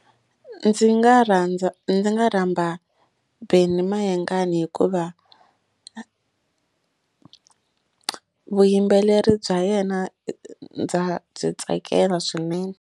Ndzi nga rhandza ndzi nga rhamba Benny Mayengani hikuva vuyimbeleri bya yena ndza byi tsakela swinene.